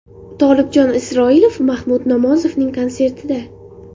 Tolibjon Isroilov Mahmud Nomozovning konsertida.